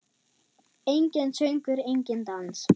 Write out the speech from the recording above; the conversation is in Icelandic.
Enginn söngur, enginn dans.